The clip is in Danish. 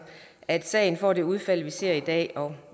at sagen får det udfald vi ser i dag og